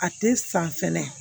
A tɛ san fɛnɛ